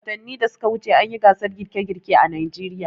Watanin da suka wuce an yi gasar girke-girke a Najeriya.